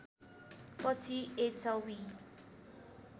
पछि एचवी